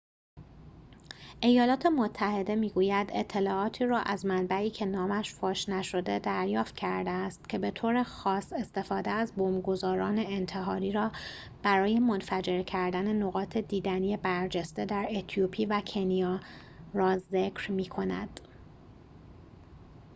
ایالات متحده می‌گوید اطلاعاتی را از منبعی که نامش فاش نشده دریافت کرده است که به‌طور خاص استفاده از بمب‌گذاران انتحاری را برای منفجر کردن نقاط دیدنی برجسته در اتیوپی و کنیا را ذکر می‌کند